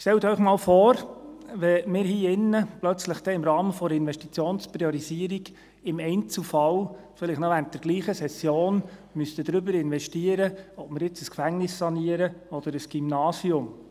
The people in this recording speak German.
Stellen Sie sich einmal vor, wir müssten hier im Grossen Rat plötzlich im Rahmen der Investitionspriorisierung im Einzelfall – vielleicht noch während derselben Session – darüber debattieren, ob wir nun ein Gefängnis sanieren oder ein Gymnasium.